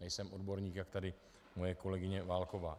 Nejsem odborník, jak tady moje kolegyně Válková.